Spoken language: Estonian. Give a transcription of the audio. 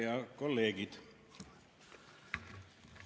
Head kolleegid!